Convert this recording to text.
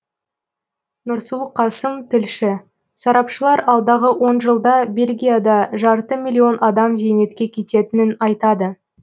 нұрсұлу қасым тілші сарапшылар алдағы он жылда бельгияда жарты миллион адам зейнетке кететінін айтады